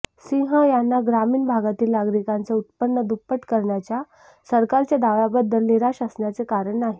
सिंह यांना ग्रामीण भागातील नागरिकांचे उत्पन्न दुप्पट करण्याच्या सरकारच्या दाव्याबद्दल निराश असण्याचे कारण नाही